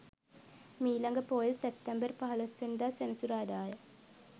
මීළඟ පෝය සැප්තැම්බර් 15 වැනි දා සෙනසුරාදාය.